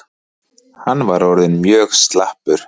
Hann var orðinn mjög slappur.